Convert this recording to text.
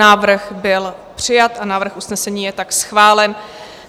Návrh byl přijat a návrh usnesení je tak schválen.